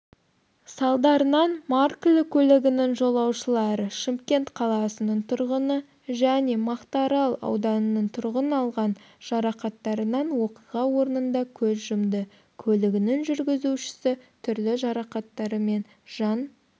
салдарынан маркілі көлігінің жолаушылары шымкент қаласының тұрғыны және мақтаарал ауданының тұрғыныалған жарақаттарынан оқиға орнында көз жұмды көлігінің жүргізушісі түрлі жарақаттарвмен жан